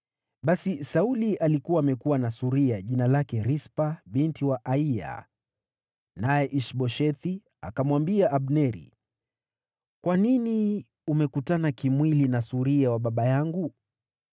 Basi Sauli alikuwa amekuwa na suria, jina lake Rispa binti wa Aiya. Naye Ish-Boshethi akamwambia Abneri, “Kwa nini umekutana kimwili na suria wa baba yangu?”